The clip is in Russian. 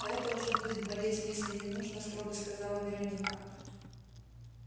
а это уже будет болезнь если не нужно строго сказала вероника